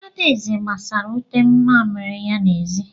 Adaeze gbasara ute mamịrị ya n'ezi.